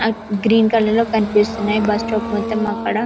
అ green colour లో కనిపిస్తున్నాయి bus stop మొత్తం అక్కడ.